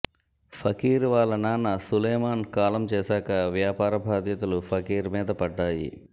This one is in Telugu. ఫకీర్ వాళ్ల నాన్న సులేమాన్ కాలం చేశాక వ్యాపార బాధ్యతలు ఫకీర్ మీద పడ్డాయి